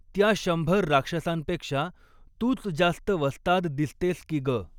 त्या शंभर राक्षसांपेक्षा तूच जास्त वस्ताद दिसतेस की ग!